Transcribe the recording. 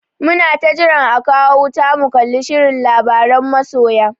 Muna ta jiran a kawo wuta mu kalli shirin labaran masoya.